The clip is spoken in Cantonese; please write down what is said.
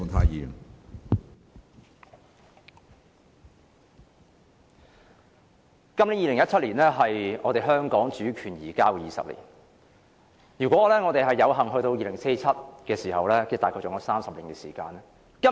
2017年是香港主權移交的第二十年，如果我們有幸活到2047年，我們還有約30年時間。